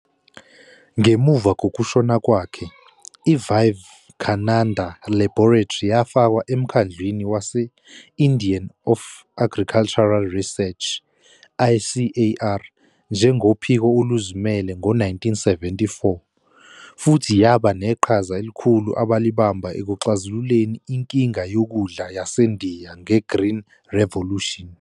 Ngemuva kokushona kwakhe, i-Vivekananda Laboratory yafakwa eMkhandlwini wase-Indian of Agricultural Research, ICAR, njengophiko oluzimele ngo-1974, futhi yaba neqhaza elikhulu abalibamba ekuxazululeni inkinga yokudla yaseNdiya ngeGreen Revolution.